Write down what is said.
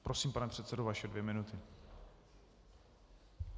Prosím, pane předsedo, vaše dvě minuty.